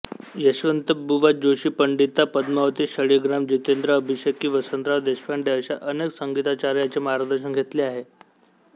यशवंतबुवा जोशी पंडिता पद्मावती शाळिग्राम जितेंद्र अभिषेकी वसंतराव देशपांडे अशा अनेक संगीताचार्यांचे मार्गदर्शन घेतले आहे